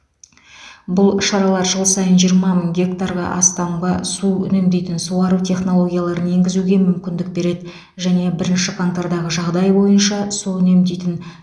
бұл шаралар жыл сайын жиырма мың гектарға астамға су үнемдейтін суару технологияларын енгізуге мүмкіндік береді және бірінші қаңтардағы жағдай бойынша су үнемдейтін